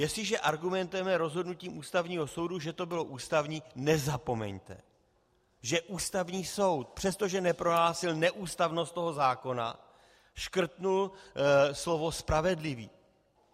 Jestliže argumentujeme rozhodnutím Ústavního soudu, že to bylo ústavní, nezapomeňte, že Ústavní soud, přestože neprohlásil neústavnost toho zákona, škrtl slovo "spravedlivý".